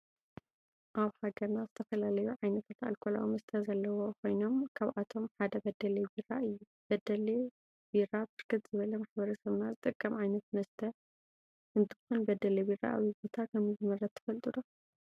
አብ ሃገርና ዝተፈላለዩ ዓይነታት አልኮላዊ መስተ ዘለዎ ኮይኖም ካብአቶም ሓደ በደሌ ቢራ እዩ። በዴለቢራ ብርክት ዝበለ ማሕበረሰብና ዝጥቀሞ ዓይነተ መስተ እንተኮን በዴሌ ቢራ አበይ ቦታ ከም ዝምረተ ትፈልጡ ዶ?